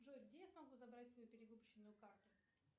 джой где я смогу забрать свою перевыпущенную карту